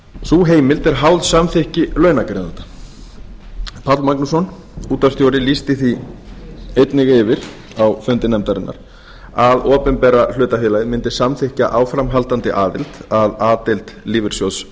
sú heimild er háð samþykki launagreiðanda páll magnússon útvarpsstjóri lýsti því einnig yfir á fundi nefndarinnar að opinbera hlutafélagið mundi samþykkja áframhaldandi aðild að a deild lífeyrissjóðs